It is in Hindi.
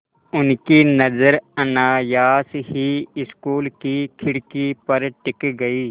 उनकी नज़र अनायास ही स्कूल की खिड़की पर टिक गई